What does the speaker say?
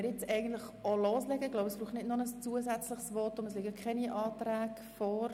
Es braucht kein zusätzliches Votum, es liegen keine Anträge vor.